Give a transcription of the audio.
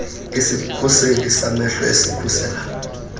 izikhuseli zamehlo ezikhusela